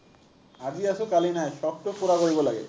আজি আছো, কালি নাই। চখটো পোৰা কৰিব লাগে।